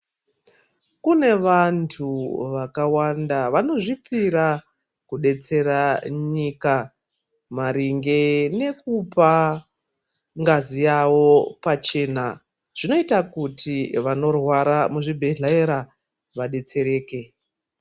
Kune vantu vakawanda vanozvipira kudetsera nyika maringe nekupa ngazi yawo pachena zvinoita kuti vanorwara muzvibhedhlera vadetsereke